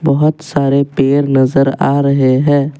बहोत सारे पेड़ नजर आ रहे हैं।